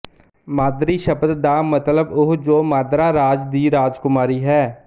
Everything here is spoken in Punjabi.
ਮਾਦ੍ਰੀ ਸ਼ਬਦ ਦਾ ਮਤਲਬ ਉਹ ਜੋ ਮਾਦ੍ਰਾ ਰਾਜ ਦੀ ਰਾਜਕੁਮਾਰੀ ਹੈ